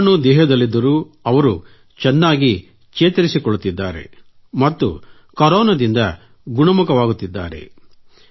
ವೈರಾಣು ದೇಹದಲ್ಲಿದ್ದರೂ ಅವರು ಚೆನ್ನಾಗಿ ಚೇತರಿಸಿಕೊಳ್ಳುತ್ತಿದ್ದಾರೆ ಮತ್ತು ಕರೋನಾದಿಂದ ಗುಣಮುಖರಾಗುತ್ತಿದ್ದಾರೆ